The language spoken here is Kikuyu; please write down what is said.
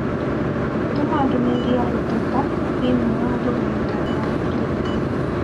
Tũma ndũmĩrĩri ya gũteta thĩinĩ wa rũrenda rũa tũita